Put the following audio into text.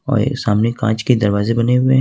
और ये सामने कांच के दरवाजे बने हुए हैं।